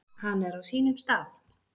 Hann er á sínum stað.